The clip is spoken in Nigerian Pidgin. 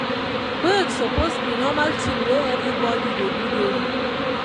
break suppose be normal thing wey everybody dey do daily.